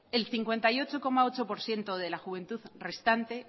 el cincuenta y ocho coma ocho por ciento de la juventud restante